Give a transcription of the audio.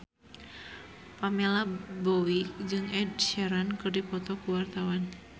Pamela Bowie jeung Ed Sheeran keur dipoto ku wartawan